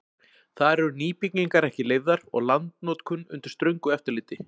Þar eru nýbyggingar ekki leyfðar og landnotkun undir ströngu eftirliti.